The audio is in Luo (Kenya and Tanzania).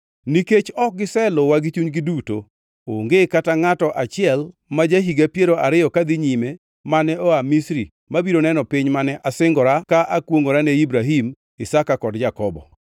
‘Nikech ok giseluwa gi chunygi duto, onge kata ngʼato achiel ma ja-higa piero ariyo kadhi nyime mane oa Misri mabiro neno piny mane asingora ka akwongʼora ne Ibrahim, Isaka kod Jakobo;